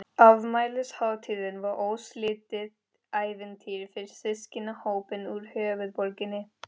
Afmælishátíðin var óslitið ævintýri fyrir systkinahópinn úr höfuðborginni.